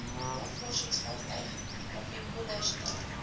navorsingsvaartuig rv polarstern